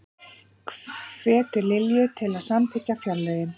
Hvetur Lilju til að samþykkja fjárlögin